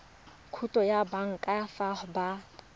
khoutu ya banka fa ba